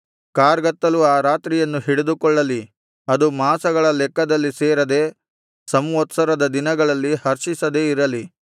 ಕಾರ್ಗತ್ತಲು ಆ ರಾತ್ರಿಯನ್ನು ಹಿಡಿದುಕೊಳ್ಳಲಿ ಅದು ಮಾಸಗಳ ಲೆಕ್ಕದಲ್ಲಿ ಸೇರದೆ ಸಂವತ್ಸರದ ದಿನಗಳಲ್ಲಿ ಹರ್ಷಿಸದೆ ಇರಲಿ